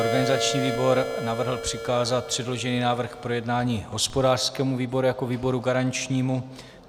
Organizační výbor navrhl přikázat předložený návrh k projednání hospodářskému výboru jako výboru garančnímu.